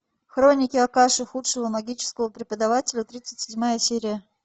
хроники акаши худшего магического преподавателя тридцать седьмая серия